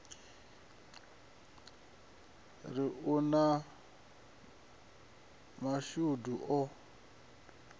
ri u na mashudu o